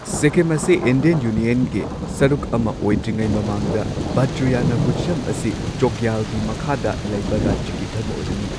ꯁꯤꯛꯀꯤꯝ ꯑꯁꯤ ꯏꯟꯗꯤꯌꯟ ꯌꯨꯅꯤꯌꯟꯒꯤꯁꯔꯨꯛ ꯑꯃ ꯑꯣꯏꯗ꯭ꯔꯤꯉꯩ ꯃꯃꯥꯡꯗ ꯕꯥꯖꯔꯥꯌꯅ ꯕꯨꯙꯤꯖꯝ ꯑꯁꯤ ꯆꯣꯒꯌꯥꯜꯒꯤ ꯃꯈꯥꯗ ꯂꯩꯕ ꯔꯥꯖ꯭ꯌꯥꯒꯤ ꯙꯔꯃ ꯑꯣꯏꯔꯝꯃꯤ꯫